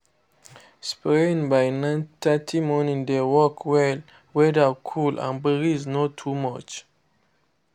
spraying by 9:30 morning dey work well—weather cool and breeze no too much.